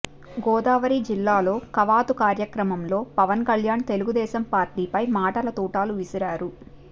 గోదావరి జిల్లాలో కవాతు కార్యక్రమంలో పవన్ కళ్యాణ్ తెలుగుదేశం పార్టీపై మాటల తూటాలు విసిరారు